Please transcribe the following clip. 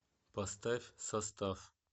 поставь состав